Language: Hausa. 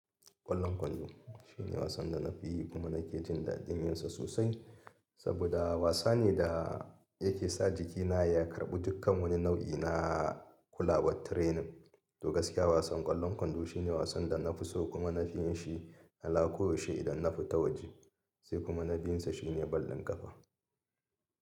Ƙwallon kwando shine wasan da na fi yi kuma na ke jin daɗin yinsa sosai saboda wasa ne da yake sa jikina ya karɓi dukkan wani nau'i na kulawar training. To gaskiya wasan ƙwallon kwando shine wasan da na fi so kuma na fi yin shi alako yaushe idan na fita waje sai kuma na bin sa shine ƙwallon ƙafa.